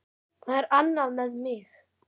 Það er annað með mig.